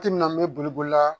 Ti minna me boli boli la